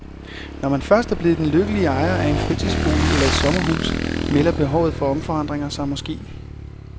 Når man først er blevet den lykkelige ejer af en fritidsbolig eller et sommerhus melder behovet for omforandringer sig måske.